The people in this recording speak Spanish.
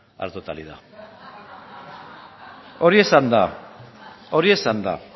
a la totalidad berbotsa hori esanda